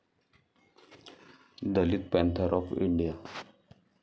Dalit Panther of India